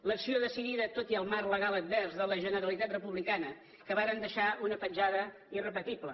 l’acció decidida tot i el marc legal advers de la generalitat republicana que va deixar una petjada irrepetible